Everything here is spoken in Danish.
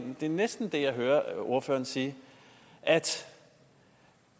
er næsten det jeg hører ordføreren sige at